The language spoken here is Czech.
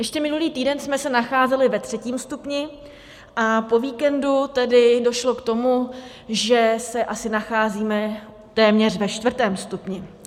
Ještě minulý týden jsme se nacházeli ve třetím stupni a po víkendu tedy došlo k tomu, že se asi nacházíme téměř ve čtvrtém stupni.